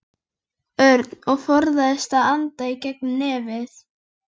Örn og forðaðist að anda í gegnum nefið.